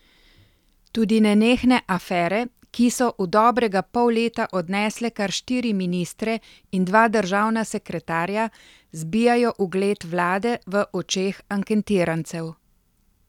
Tudi nenehne afere, ki so v dobrega pol leta odnesle kar štiri ministre in dva državna sekretarja, zbijajo ugled vlade v očeh anketirancev.